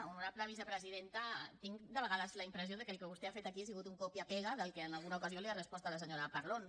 honorable vicepresidenta tinc de vegades la impressió que el que vostè ha fet aquí ha sigut un copia y pega del que en alguna ocasió li ha respost a la senyora parlon